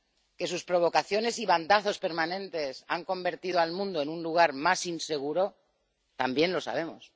que sus provocaciones y bandazos permanentes han convertido al mundo en un lugar más inseguro, también lo sabemos.